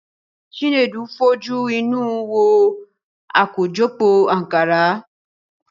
Chinedu fojú inú wo àkójọpọ̀ Ànkárá.